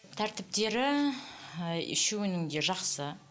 тәртіптері ііі үшеуінің де жақсы